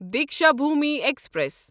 Deekshabhoomi express